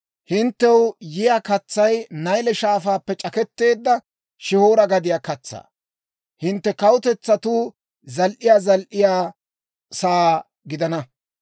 Hinttew yiyaa katsay Nayle Shaafaappe c'aketteedda Shihoora gadiyaa katsaa. Hintte kawutetsatuu zal"iyaa zal"iyaa sa'aa gidana.